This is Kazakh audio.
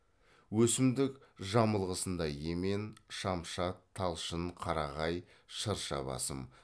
өсімдік жамылғысында емен шамшат талшын қарағай шырша басым